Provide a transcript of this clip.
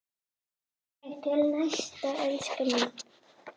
Þangað til næst, elskan mín.